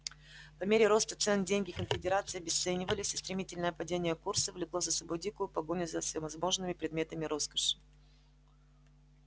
по мере роста цен деньги конфедерации обесценивались а стремительное падение курса влекло за собой дикую погоню за всевозможными предметами роскоши